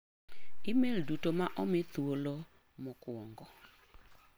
Imel duto ma omi thuolo mokuong'o.